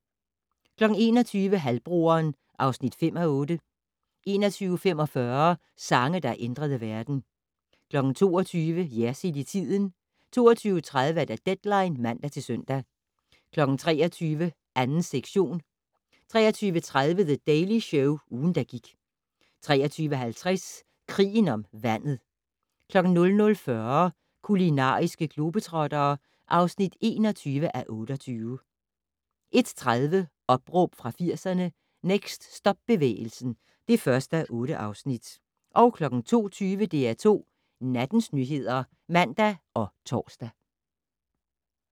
21:00: Halvbroderen (5:8) 21:45: Sange, der ændrede verden 22:00: Jersild i tiden 22:30: Deadline (man-søn) 23:00: 2. sektion 23:30: The Daily Show - ugen, der gik 23:50: Krigen om vandet 00:40: Kulinariske globetrottere (21:28) 01:30: Opråb fra 80'erne - Next Stop-bevægelsen (1:8) 02:20: DR2 Nattens nyheder (man og tor)